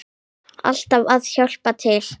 Alltaf að hjálpa til.